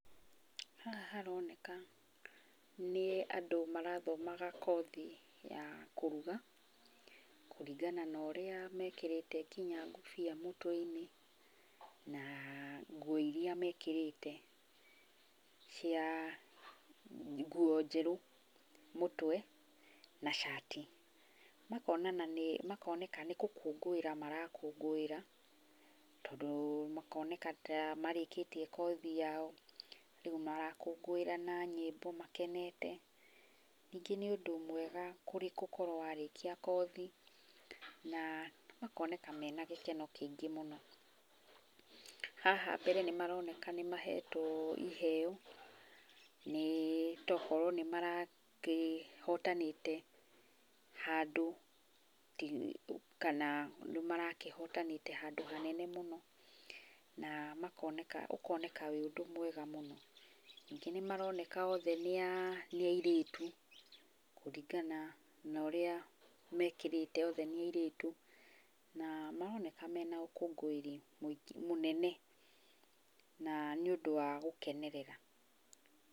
Haha haroneka nĩ andũ marathomaga kothi ya kũrugakũringana na ũrĩa mekĩrĩte nginya ngũbia mũtweinĩ na nguo iria mekĩrĩte cia, nguo njerũ mũtwe, na cati. Makoneka nĩ gũkũngũĩra marakũngũĩra, tondũ makoneka ta marĩkĩtie kothi yao, rĩu marakũngũĩra na myĩmbo makenete. Nĩngĩ nĩ ũndũ mwega gũkorwo warĩkia kothi, na makoneka mena gĩkeno kĩingĩ mũno. Haha mbere nĩ maroneka nĩmahetwo ĩheo, nĩ ta okorwo nĩ marakĩhotanĩte handũ kana nĩ marakĩhotanĩte handũ hanene mũno. Na ukoneka wĩ ũndũ mwega mũno. Ningĩ nĩmaroneka othe nĩ airĩtu kũringana na ũrĩa mekĩrĩte othe nĩ airĩtu na maroneka mena ũkũngũĩri munene na nĩ ũndũ wa gũkenerera.